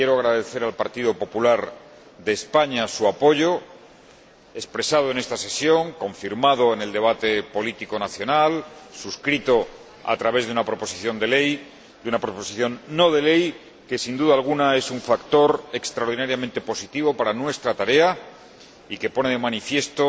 Quiero agradecer al Partido Popular de España su apoyo, expresado en esta sesión, confirmado en el debate político nacional, suscrito a través de una proposición no de ley, que, sin duda alguna, es un factor extraordinariamente positivo para nuestra tarea y que pone de manifiesto